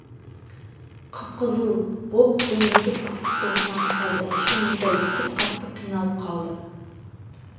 қып-қызыл боп ду егіп ыстық толқын атып қалды іші мұздай түсіп қатты қиналып қалды